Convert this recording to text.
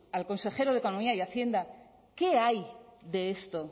al consejero de economía y hacienda qué hay de esto